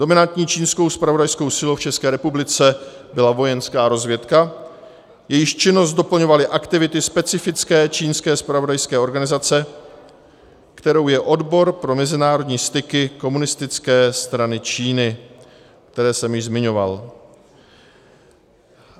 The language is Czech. Dominantní čínskou zpravodajskou silou v České republice byla vojenská rozvědka, jejíž činnost doplňovaly aktivity specifické čínské zpravodajské organizace, kterou je Odbor pro mezinárodní styky Komunistické strany Číny, které jsem již zmiňoval.